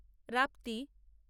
Rapti